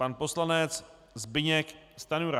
Pan poslanec Zbyněk Stanjura.